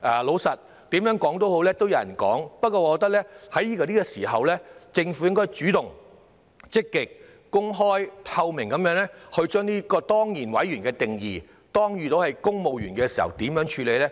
老實說，不管怎樣也會有人批評的，但我認為這個時候，政府應該主動、積極、公開透明地解說這個當然委員的定義，萬一是公務員時，會如何處理呢？